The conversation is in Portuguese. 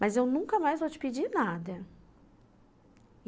Mas eu nunca mais vou te pedir nada.